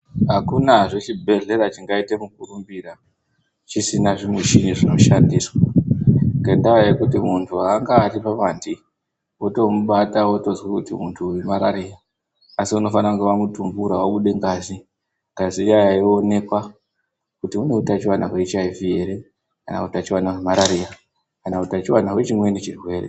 Hakunazve chibhedhlera chingaite mukurumbira chisina zvimichini zvinoshandiswa. Ngendaa yekuti muntu hangari pamandi votomubata votozwa kuti muntu uyu marariya. Asi unofana kunge vamutumbura vabude ngazi ngazi iyaiya yoonekwa kuti une utachivana veechiivi ere kana utachivana hwemarariya, kana utachivana hwechimweni chirwere.